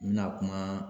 N bɛna kuma